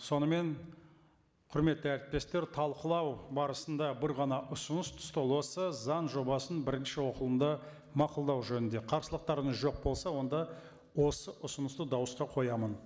сонымен құрметті әріптестер талқылау барысында бір ғана ұсыныс түсті ол осы заң жобасын бірінші оқылымда мақұлдау жөнінде қарсылықтарыңыз жоқ болса онда осы ұсынысты дауысқа қоямын